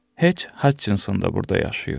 Heç Hachinson da burda yaşayır.